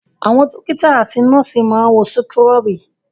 Àwọn dọ́kítá àti nọ́ọ́sì máa ń wọ súkúrọ́bì.